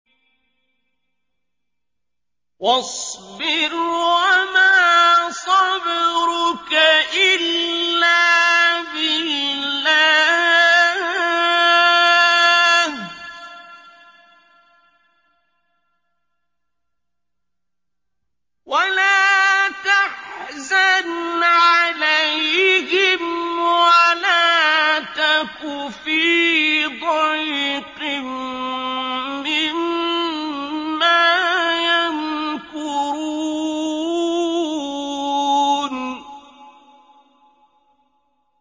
وَاصْبِرْ وَمَا صَبْرُكَ إِلَّا بِاللَّهِ ۚ وَلَا تَحْزَنْ عَلَيْهِمْ وَلَا تَكُ فِي ضَيْقٍ مِّمَّا يَمْكُرُونَ